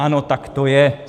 Ano, tak to je.